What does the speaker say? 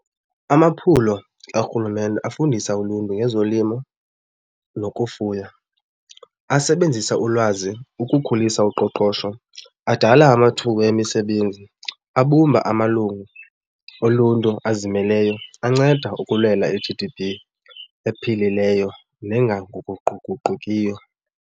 Amaphulo kaRhulumente afundisa uluntu ngezolimo nokufuya, asebenzisa ulwazi ukukhulisa uqoqosho, adala amathuba emisebenzi, abumba amalungu oluntu azimeleyo, anceda ukulwela i-G_D_P ephilileyo nengaguquguqukiyo.